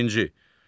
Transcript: Birinci.